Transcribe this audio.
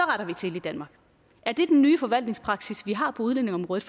retter vi til i danmark er det den nye forvaltningspraksis vi har på udlændingeområdet